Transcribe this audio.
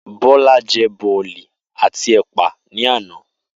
Bó̩lá je̩ bò̩lì̩ àti è̩pà ní àná